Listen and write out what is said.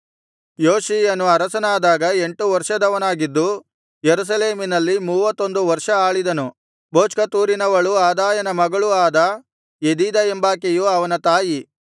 ಯೋಷೀಯನು ಅರಸನಾದಾಗ ಎಂಟು ವರ್ಷದವನಾಗಿದ್ದು ಯೆರೂಸಲೇಮಿನಲ್ಲಿ ಮೂವತ್ತೊಂದು ವರ್ಷ ಆಳಿದನು ಬೊಚ್ಕತೂರಿನವಳೂ ಅದಾಯನ ಮಗಳೂ ಆದ ಯೆದೀದಾ ಎಂಬಾಕೆಯು ಅವನ ತಾಯಿ